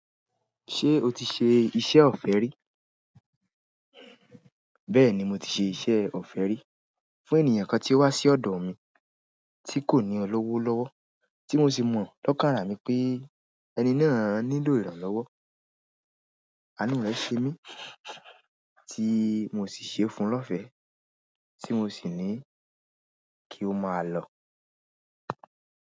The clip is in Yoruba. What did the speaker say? Ṣé o ti ṣe iṣẹ́ ọ̀fẹ́ rí? Bẹ́ẹ̀ni, mo ti ṣe iṣẹ́ ọ̀fẹ́ rí. Fún ènìyàn kan tí ó wá sí ọ̀dọ̀ mi, tí kò ní owo lọ́wọ́, tí mo sì mọ̀ lọ́kàn ará mi pé ẹni náà nílò ìrànlọ́wọ́. A nú rẹ̀ ṣe mí, tí mo sì ṣe é fún lọ́fẹ̀ẹ́, tí mo sì ní kí ó máa lọ.